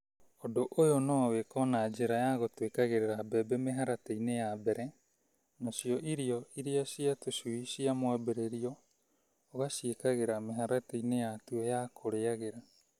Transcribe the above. Undũ ũyũ no wĩko na njĩra ya gũtwĩkagĩrĩra mbembe mĩharatĩ-inĩ ya mbere nacio irio cia tũcui cia mwambĩrĩrio ũgaciĩkagĩra mĩharati-inĩ yatuo ya kũrĩagĩra.